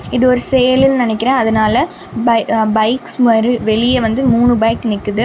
இது ஒரு சேலுன்னு நினைக்கிர அதனால பை பைக்ஸ் வெளியே வந்து மூணு பைக் நிக்குது.